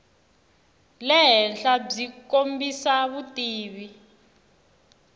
le henhla byi kombisa vutivi